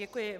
Děkuji.